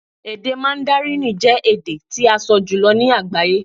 Èdè Màndárínì jẹ́ èdè tí a sọ jùlọ ní agbaye